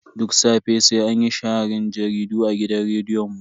Duk safe sai anyi sharhin jaridu a gidan rediyon mu.